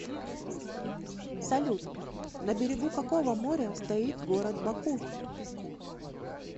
салют на берегу какого моря стоит город баку